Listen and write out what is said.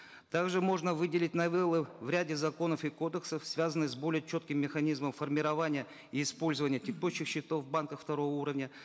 также можно выделить новеллы в ряде законов и кодексов связанных с более четким механизмом формирования и использования текущих счетов в банках второго уровня